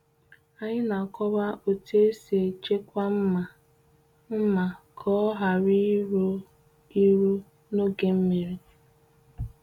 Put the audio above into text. Anyị na-akọwa otu esi echekwa mma mma ka ọ ghara iru iru n’oge nmiri.